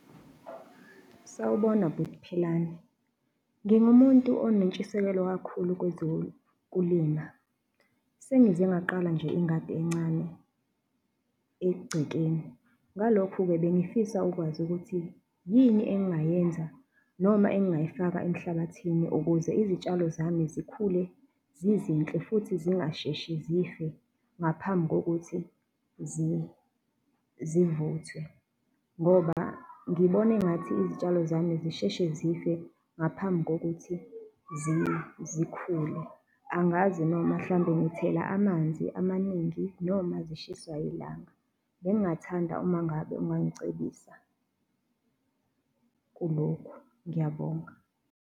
Sawubona bhuti Philani, ngingumuntu onentshisekelo kakhulu kwezokulima. Sengize ngaqala nje ingadi encane egcekeni, ngalokho-ke bengifisa ukwazi ukuthi yini engingayenza noma engingayifaka emhlabathini, ukuze izitshalo zami zikhule zizinhle futhi zingasheshi zife ngaphambi kokuthi zivuthwe ngoba ngibona engathi izitshalo zami zisheshe zife ngaphambi kokuthi zikhule, angazi noma mhlawumbe ngithela amanzi amaningi noma zishiswa ilanga. Bengingathanda uma ngabe ungangicebisa kulokhu, ngiyabonga.